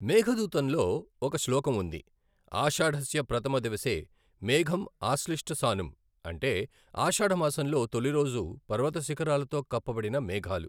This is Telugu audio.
మేఘదూతంలో ఒక శ్లోకం ఉంది ఆషాఢస్య ప్రథమ దివసే మేఘమ్ ఆశ్లిష్ట సానుమ్ అంటే ఆషాఢ మాసంలో తొలిరోజు పర్వత శిఖరాలతో కప్పబడిన మేఘాలు.